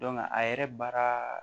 a yɛrɛ baara